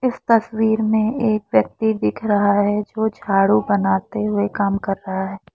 इस तस्वीर में एक व्यक्ति दिख रहा है जो झाड़ू बनाते हुए काम कर रहा है।